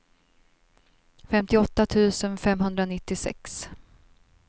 femtioåtta tusen femhundranittiosex